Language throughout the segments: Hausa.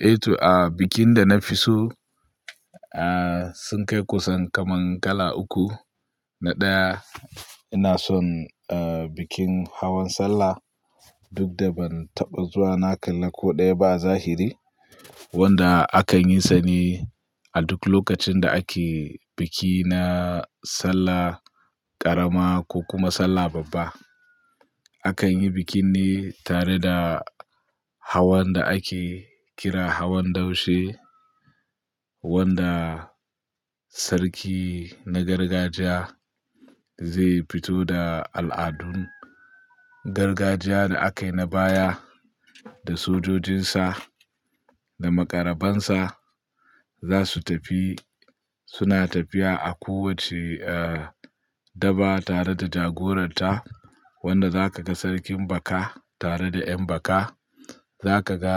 Eh to, a bikin da na fi so, sun kai kusan kaman kala uku. Na ɗaya ina son bikin hawan sallah duk da ban taɓa zuwa na kalla ko ɗaya ba a zahiri wanda akanyi sa ne a duk lokacin da ake biki na Sallah ƙarama ko kuma Sallah babba. Akan yi bikin ne tare da hawan da ake kira hawan daushe wanda sarki na gargajiya zai fito da al'adun gargajiya da a kai na baya da sojojinsa da maƙarabansa za su tafi suna tafiya a kowace daba tare da jagoranta wanda za ka ga sarkin baka tare da 'yan baka. Za ka ga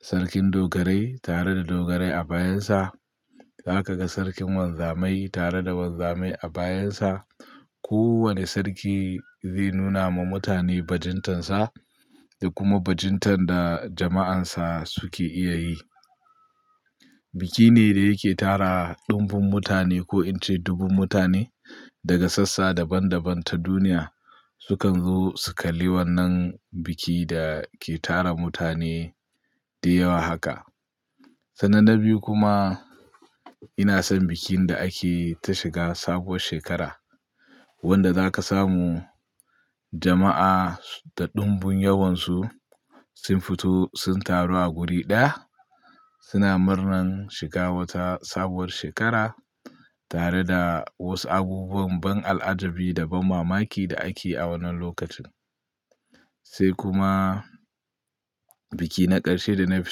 sarkin dogarai tare da dogarai a bayansa. Za ka ga sarkin wanzamai tare da wanzamai a bayansa. Kowane sarki zai nuna ma mutane bajintarsa da kuma bajintar da jama'ansa suke iya yi. Biki ne da yake tara ɗumbun mutane ko in ce dubun mutane daga sassa daban daban ta duniya sukan zo su kalli wannan bikin da ke tara mutane dayawa haka. Sannan na biyu kuma ina son bikin da ake ta shiga sabuwar shekara wanda za ka samu jama'a da ɗumbun yawansu sun fito sun taru a wuri ɗaya suna murnan shiga wata sabuwar shekara tare da wasu abubuwan ban al'ajabi da banmamaki da ake a wannan lokacin. Sai kuma biki na ƙarshe da na fi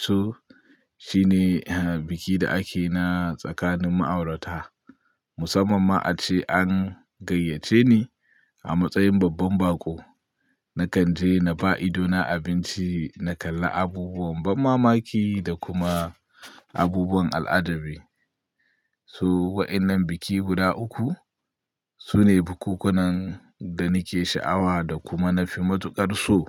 so shine biki da ake na tsakanin ma'aurata musamman ma ace an gayyace ni a matsayin babban bako. Na kan je na ba idona abinci, na kalla abubuwan banmamaki da kuma abubuwan al'ajabi. To waɗannan biki guda uku su ne bukkunan da nake sha'awa da kuma na fi matuƙar so.